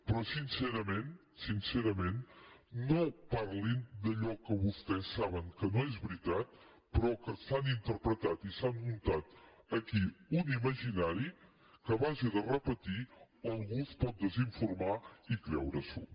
però sincerament sincerament no parlin d’allò que vostès saben que no és veritat però que han interpretat i s’han muntat aquí un imaginari que a base de repetir lo algú es pot desinformar i creure s’ho